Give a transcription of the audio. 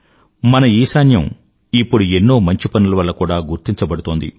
మన ఈశాన్యం ఇప్పుడు ఎన్నో మంచి పనులవల్ల కూడా గుర్తించబడుతోంది